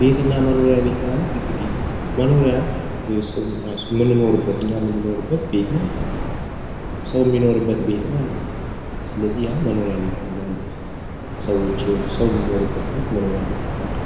ቤትና መኖሪያ ቤት ማለት እንግዲህ መኖሪያ እንግዲህ ሰው እራሱ የሚኖርበት እኛ የምንኖርበት ቤት ማለት ነው ሰው የሚኖርበት ቤት ማለት ነው። ስለዚህ ያ መኖሪያ ቤት እንለዋለን ሰው የሚኖርበት ቤት መኖሪያ ቤት ይባላል።